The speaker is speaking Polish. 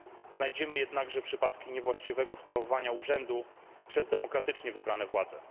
Znajdziemy także przypadki niewłaściwego sprawowania urzędu przez demokratycznie wybrane władze.